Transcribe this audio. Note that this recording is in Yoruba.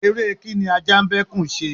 ère kíń ní aja n ba ekún se